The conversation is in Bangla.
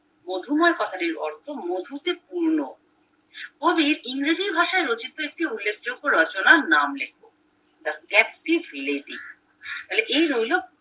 মধুময় কথাটির অর্থ মধুতে পূর্ণ কবির ইংরেজি ভাষায় রচিত একটি উল্লেখযোগ্য রচনার নাম লেখো the active lady তাহলে এই রইলো